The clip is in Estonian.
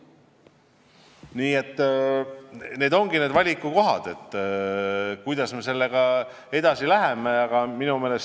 Need ongi need valikukohad, kuidas me edasi läheme.